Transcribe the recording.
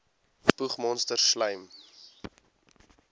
spoeg monsters slym